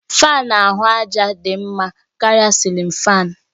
Fáan ahụ àjà dị mma karịa cilin fáan